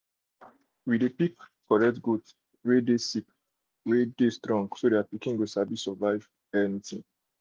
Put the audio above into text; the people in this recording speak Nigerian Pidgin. we dey pick correct goat wey dey sick and wey strong so their pikin go sabi survive anything.